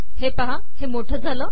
हे पहा मोठे झाले